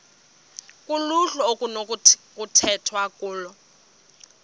kuluhlu okunokukhethwa kulo